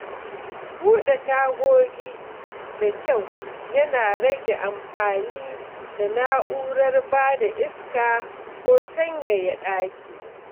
Buɗe tagogi da kyau yana rage amfani da na’urar bada iska ko sanyaya ɗaki.